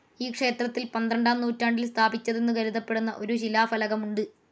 ഈ ക്ഷേത്രത്തിൽ പന്ത്രണ്ടാം നൂറ്റാണ്ടിൽ സ്ഥാപിച്ചതെന്നു കരുതപ്പെടുന്ന ഒരു ശിലാഫലകമുണ്ട്.